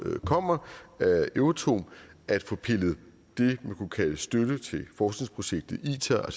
kommer af euratom at få pillet det man kunne kalde støtte til forskningsprojektet itar